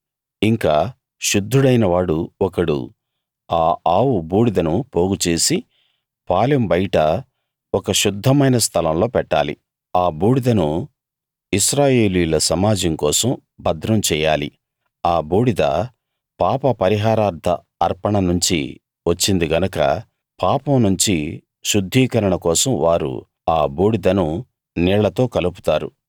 ఇంకా శుద్ధుడైనవాడు ఒకడు ఆ ఆవు బూడిదను పోగు చేసి పాలెం బయట ఒక శుద్ధమైన స్థలంలో పెట్టాలి ఆ బూడిదను ఇశ్రాయేలీయుల సమాజం కోసం భద్రం చెయ్యాలి ఆ బూడిద పాపపరిహారార్ధ అర్పణ నుంచి వచ్చింది గనక పాపం నుంచి శుద్ధీకరణ కోసం వారు ఆ బూడిదను నీళ్ళతో కలుపుతారు